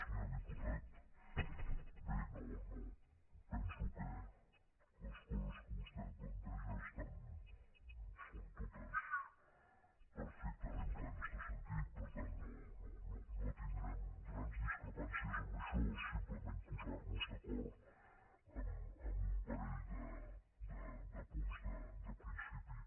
senyor diputat bé penso que les coses que vostè planteja són totes perfectament plenes de sentit per tant no tindrem grans discrepàncies en això simplement posar nos d’acord en un parell de punts de principi